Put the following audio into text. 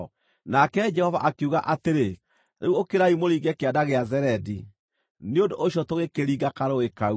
Nake Jehova akiuga atĩrĩ, “Rĩu ũkĩrai mũringe Kĩanda gĩa Zeredi.” Nĩ ũndũ ũcio tũgĩkĩringa karũũĩ kau.